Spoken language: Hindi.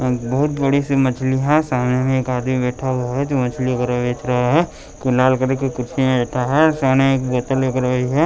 बहुत बड़ी सी मछली है सामने में एक आदमी बैठा हुआ है जो मछली बेच रहा है तो लाल कलर की कुर्सी में बैठा है सामने एक बोतल देख रही है।